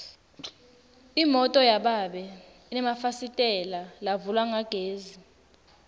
imoto yababe inemafasitela lavulwa ngagesi